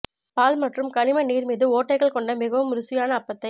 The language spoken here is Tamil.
பால் மற்றும் கனிம நீர் மீது ஓட்டைகள் கொண்ட மிகவும் ருசியான அப்பத்தை